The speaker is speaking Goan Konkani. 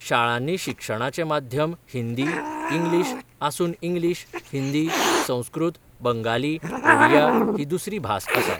शाळांनी शिक्षणाचें माध्यम हिंदी, इंग्लीश आसून इंग्लीश, हिंदी, संस्कृत, बंगाली, ओडिया ही दुसरी भास आसा.